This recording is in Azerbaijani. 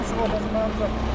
o da mənimdir.